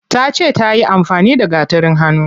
Tace tayi amfani da gatarin hannu.